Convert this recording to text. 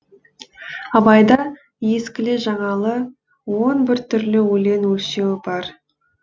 абайда ескілі жаңалы он бір түрлі өлең өлшеуі бар